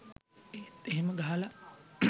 ඒත් එහෙම ගහලා